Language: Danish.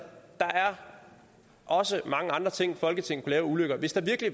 er også mange andre ting folketinget kunne lave af ulykker hvis der virkelig